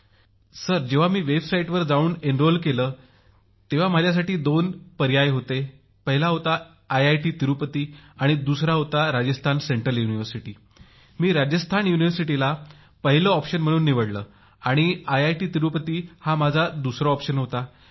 मोदीजी जेव्हा त्यांच्या संकेतस्थळावर गेलो तेव्हा अरुणाचल प्रदेशातील लोकांसाठी दोन पर्याय होते पहिला होता आंध्रप्रदेश ज्यात आयआयटी तिरुपती होते आणि दुसरा पर्याय होता राजस्थानचे केंद्रीय विद्यापीठ म्हणून मी राजस्थानला पहिला पर्याय म्हणून निवडले आणि आयआयटी तिरुपती हा माझा दुसरा पसंतीचा पर्याय होता